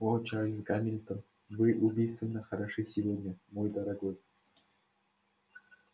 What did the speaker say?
о чарльз гамильтон вы убийственно хороши сегодня мой дорогой